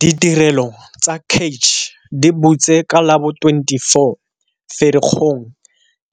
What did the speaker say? Ditirelo tsa CACH di butse ka la bo 24 Ferikgong